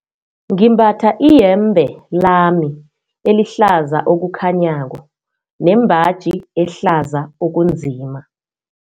Ngimbatha iyembe lami elihlaza okukhanyako nembaji ehlaza okunzima.